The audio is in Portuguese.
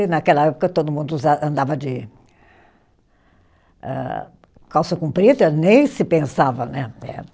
E naquela época todo mundo usa, andava de âh, calça comprida, nem se pensava, né? Eh